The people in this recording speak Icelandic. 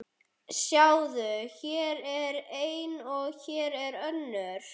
Sjáðu, hér er ein og hér er önnur.